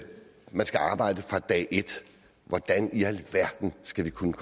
man skal arbejde fra dag et hvordan i alverden skal vi kunne